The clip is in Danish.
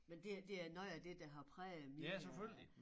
Men det er det er noget af det der har præget min øh